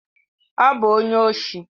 Ọ bụ onye oshi.